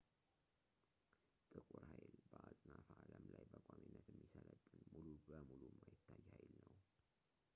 ጥቁር ሀይል በአጽናፈ አለም ላይ በቋሚነት የሚሰለጥን ሙሉ በሙሉ የማይታይ ኃይል ነው